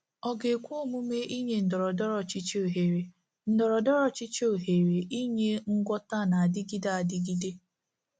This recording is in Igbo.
Ọ ga-ekwe omume inye ndọrọndọrọ ọchịchị ohere ndọrọndọrọ ọchịchị ohere inye ngwọta na-adịgide adịgide?